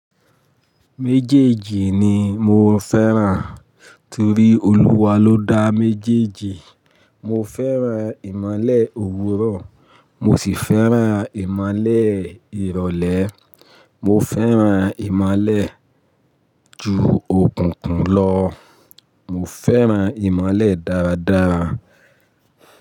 Méjèèjì ni mo fẹ́ràn torí Olúwa ló dá méjèèjì. Mo fẹ́ràn ìmolè òwúrọ̀, mo sì fẹ́ràn ìmolè ìrọ̀lẹ́. Mo fẹ́ràn ìmálè ju òkùnkùn lọ. Mo fẹ́ràn ìmolè dáradára.